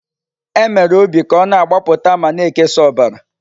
E mere obi ka ọ na-agbapụta ma na-ekesa ọbara.